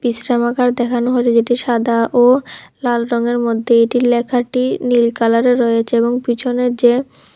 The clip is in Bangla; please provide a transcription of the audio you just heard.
দেখানো হয়েছে যেটি সাদা ও লাল রঙের মধ্যে এটির লেখাটি নীল কালারের রয়েছে এবং পিছনে যে--